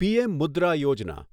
PM Mudra Yojana